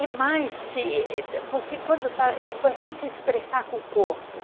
É mais que você se expressar com o corpo.